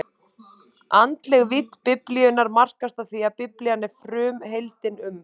Andleg vídd Biblíunnar markast af því, að Biblían er frumheimildin um